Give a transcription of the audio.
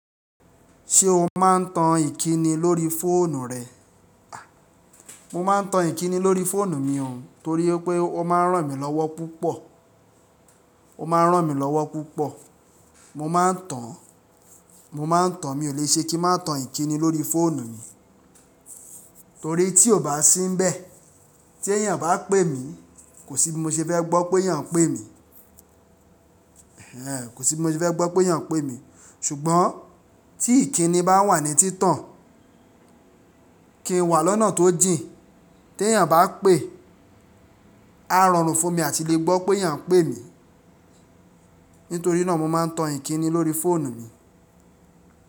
Ṣé o máa ń tan ìkíni lórí fóònù rẹ? A! Mo máa ń tan ìkíni lórí fóònù mi ò torí pé ó máa ń ràn mí lọ́wọ́ púpọ̀, ó máa ń ràn mí lọ́wọ́ púpọ̀. Mo máa ń tan, mo máa ń tan, mi ò le ṣe kí má tan ìkíni lórí fóònù mi. Torí tí ò bá sínbẹ́ẹ̀, tí èèyàn bá pè mí, kò sí bí mo ṣe fẹ́ gbọ́ pé èèyàn ń pè mí. Kò sí bí mo ṣe fẹ́ gbọ́ pé èèyàn ń pè mí. Ṣùgbọ́n tí ìkíni bá wà ní títàn, kí n wà lọ́nà tó jìn, tí èyàn bá pè, áá rọrùn fún mi láti lè gbọ́ pé èèyàn ń pè mí. Nítorí náà mo máa ń tan ìkíni lórí fóònù mi.